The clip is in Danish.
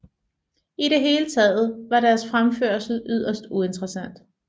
I det hele taget var deres fremførsel yderst uinteresssant